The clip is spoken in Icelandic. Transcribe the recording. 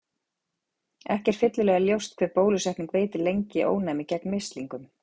Ekki er fyllilega ljóst hve bólusetning veitir lengi ónæmi gegn mislingum.